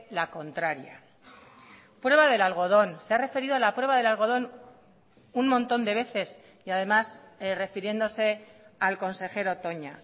la contraria prueba del algodón se ha referido a la prueba del algodón un montón de veces y además refiriéndose al consejero toña